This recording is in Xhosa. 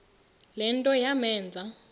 le nto yamenza